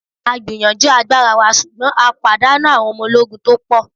A gbìyànjú agbára wa ṣùgbọ́n a pàdánù àwon ọmọ ológun to pò